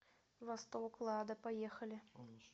восток лада поехали